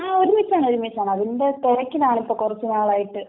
ങാ..ഒരുമിച്ചാണ്, ഒരുമിച്ചാണ്..അതിന്റെ തിരക്കിലാണ് ഇപ്പൊ കൂറച്ചുനാളായിട്ട്..